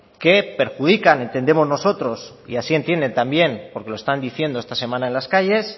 que perjudican entendemos nosotros y así entienden también porque lo están diciendo esta semana en las calles